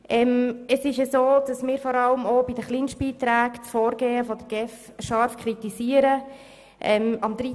Wir üben vor allem auch in Bezug auf die Kleinstbeiträge scharfe Kritik am Vorgehen der GEF.